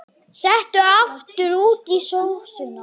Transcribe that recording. Settu aftur út í sósuna.